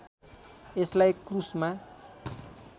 यसलाई क्रूसमा